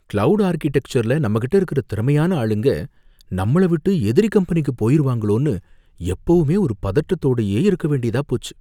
Cloud ஆர்க்கிடெக்சர்ல நம்மகிட்ட இருக்கிற திறமையான ஆளுங்க நம்மள விட்டு எதிரி கம்பெனிக்கு போயிருவாங்களோனு எப்பவுமே ஒரு பதட்டத்தோடயே இருக்க வேண்டியதா போச்சு.